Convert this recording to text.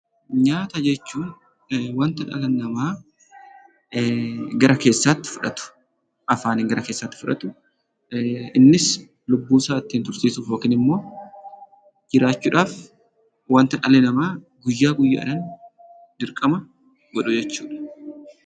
Nyaata jechuun wanta dhali nama gara keessatti fudhatu afaanni gara keessatti fudhatu innis lubbuu isaa ittin tursisuuf yookiin immoo jiraachuudhaaf wanta dhali nama guyya guyyaan dirqama godhuu jechuudha.